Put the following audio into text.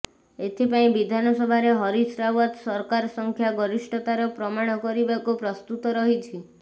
ଏଥିପାଇଁ ବିଧାନସଭାରେ ହରିଶ ରାୱତ୍ ସରକାର ସଂଖ୍ୟା ଗରିଷ୍ଠତାର ପ୍ରମାଣ କରିବାକୁ ପ୍ରସ୍ତୁତ ରହିଛି